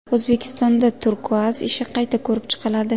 O‘zbekistonda Turkuaz ishi qayta ko‘rib chiqiladi.